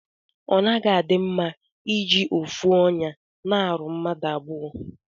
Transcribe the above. Onaghi adi mma iji ofu onya na aru mmadu abụọ.